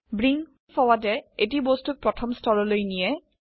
bring forward য়ে এটি বস্তুক প্ৰথম স্তৰলৈ নিয়ে